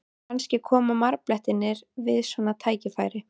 Kannski koma marblettirnir við svona tækifæri?